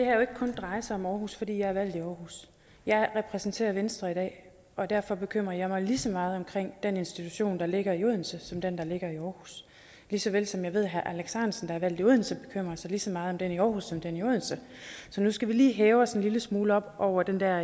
ikke kun dreje sig om aarhus fordi jeg er valgt i aarhus jeg repræsenterer venstre i dag og derfor bekymrer jeg mig lige så meget om den institution der ligger i odense som om den der ligger i aarhus lige såvel som jeg ved at herre alex ahrendtsen der er valgt i odense bekymrer sig lige så meget om den i aarhus som om den i odense nu skal vi lige hæve os en lille smule op over den der